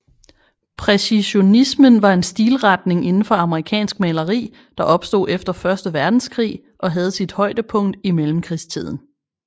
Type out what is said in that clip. Præcisionismen var en stilretning inden for amerikansk maleri der opstod efter første verdenskrig og havde sit højdepunkt i mellemkrigstiden